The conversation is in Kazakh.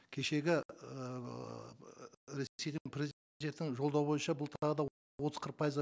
кешегі ііі жолдауы бойынша бұл тағы да отыз қырық пайызға